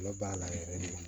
Ala b'a la yɛrɛ de